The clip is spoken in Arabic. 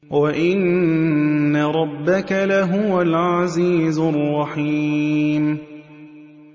وَإِنَّ رَبَّكَ لَهُوَ الْعَزِيزُ الرَّحِيمُ